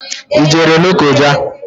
I jere Lokoja?